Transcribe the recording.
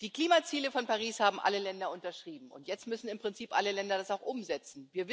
Die Klimaziele von Paris haben alle Länder unterschrieben, und jetzt müssen im Prinzip alle Länder das auch umsetzen.